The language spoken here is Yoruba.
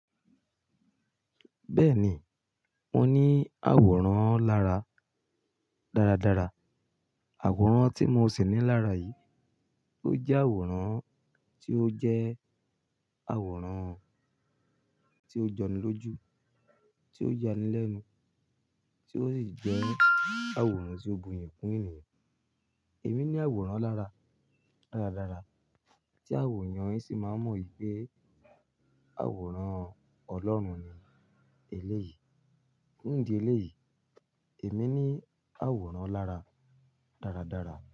Bẹ́ẹ̀ni, mo ní àwòrán lára dáradára. Àwòrán tí mo sì ní lára yìí, tó jẹ́ àwòrán, tí ó jẹ́ àwòrán tí ó jọni lójú, tí ó ya nílẹ̀ inú, tí ó sì jẹ́ àwòrán tí ó bu iyii kún ènìyàn. Èmi ní àwòrán lára dáradára, tí àwọn èèyàn sì máa n mọ̀ pé àwòrán Ọlọ́run ni èlé yìí. Ní ìdí elé yìí, èmi ní àwòrán lára dáradára.